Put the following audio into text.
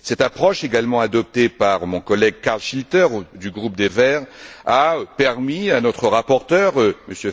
Cette approche, également adoptée par mon collègue Carl Schlyter, du groupe des Verts, a permis à notre rapporteur, M.